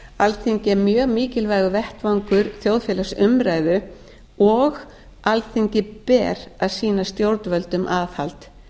alþingi er mjög mikilvægur vettvangur þjóðfélagsumræðu og alþingi ber að sýna stjórnvöldum aðhald